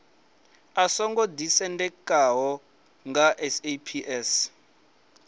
u songo ḓisendekaho nga saps